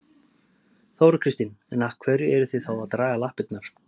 Þóra Kristín: En af hverju eruð þið þá að draga lappirnar?